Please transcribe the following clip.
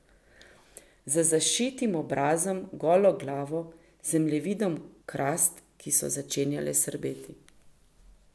Z zašitim obrazom, golo glavo, zemljevidom krast, ki so začenjale srbeti.